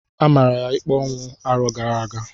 A mara ya ikpe ọnwụ arọ gara aga.